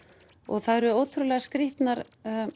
það eru ótrúlega skrítnar